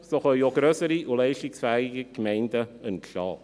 So können auch grössere und leistungsfähigere Gemeinden entstehen.